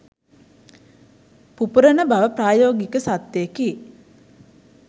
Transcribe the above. පුපුරණ බව ප්‍රායෝගික සත්‍යයකි.